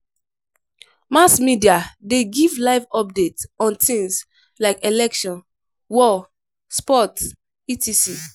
Mass media de give live update on things like election, war, sports etc.